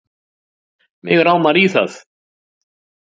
Mig rámar í það